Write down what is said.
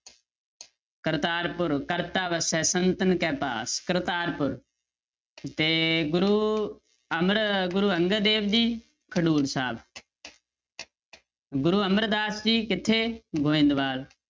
ਕਰਤਾਰਪੁਰ, ਕਰਤਾ ਵਸੈ ਸੰਤਨ ਕੇ ਪਾਸ ਕਰਤਾਰਪੁਰ ਤੇ ਗੁਰੂ ਅਮਰ ਗੁਰੂ ਅੰਗਦ ਦੇਵ ਜੀ ਖਡੂਰ ਸਾਹਿਬ ਗੁਰੂ ਅਮਰਦਾਸ ਜੀ ਕਿੱਥੇ, ਗੋਬਿੰਦਵਾਲ